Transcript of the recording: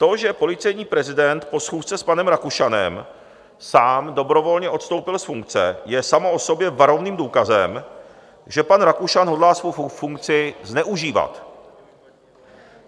To, že policejní prezident po schůzce s panem Rakušanem sám dobrovolně odstoupil z funkce, je samo o sobě varovným důkazem, že pan Rakušan hodlá svou funkci zneužívat.